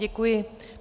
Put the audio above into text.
Děkuji.